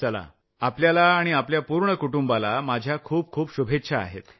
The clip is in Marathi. चला माझ्या आपल्याला आणि आपल्या पूर्ण कुटुंबाला खूप खूप शुभेच्छा आहेत